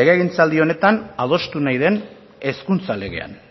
legegintzaldi honetan adostu nahi den hezkuntza legean